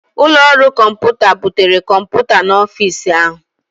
Ụlọ ọrụ kọmpụta butere kọmpụta n'ọfịs ahụ